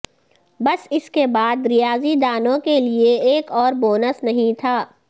بس اس کے بعد ریاضی دانوں کے لیے ایک اور بونس نہیں تھا